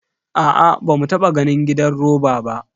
Aa, bamu taba ganin gidan roba ba.